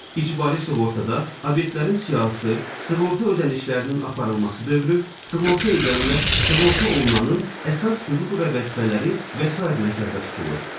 İcbari sığortada obyektlərin siyahısı, sığorta ödənişlərinin aparılması dövrü, sığorta edənlə sığorta olunanın əsas hüquq və vəzifələri və sair nəzərdə tutulur.